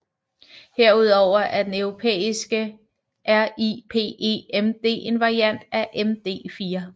Herudover er den europæiske RIPEMD en variant af MD4